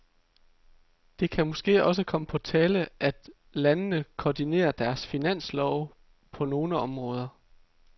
Det kan måske også komme på tale, at landene koordinerer deres finanslove på nogle områder.